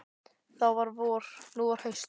Þá var vor, nú var haust.